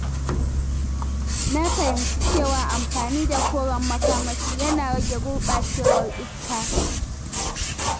Na fahimci cewa amfani da koren makamashi yana rage gurɓacewar iska.